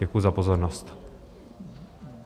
Děkuji za pozornost.